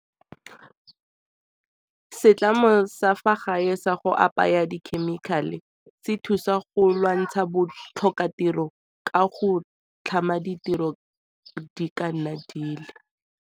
Setlamo sa fa gae sa go apaya dikhemikhale se thusa go lwantsha bo tlhokatiro ka go tlhama ditiro di ka nna di le.